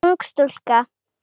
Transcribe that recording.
Ung stúlka.